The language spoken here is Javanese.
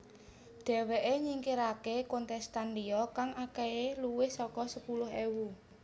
Dheweké nyingkiraké kontestan liya kang akehé luwih saka sepuluh ewu